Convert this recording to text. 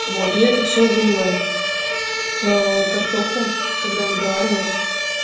вот я это все вылила в картоху когда она доваривалась